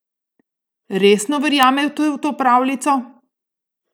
Resno verjamete v to pravljico?